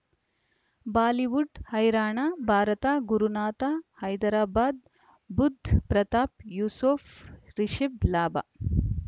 Bollywood ಹೈರಾಣ ಭಾರತ ಗುರುನಾಥ ಹೈದರಾಬಾದ್ ಬುಧ್ ಪ್ರತಾಪ್ ಯೂಸುಫ್ ರಿಷಬ್ ಲಾಭ